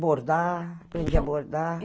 Bordar, aprendi a bordar.